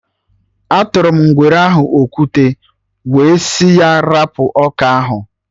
Atụrụ m ngwere ahụ okwute, wee sị ya 'rapụ ọka ahụ!'